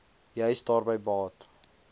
juis daarby baat